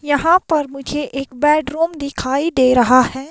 यहां पर मुझे एक बेडरूम दिखाई दे रहा है।